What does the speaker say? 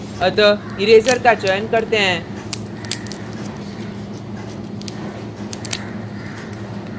अतः इरेज़र का चयन करते हैं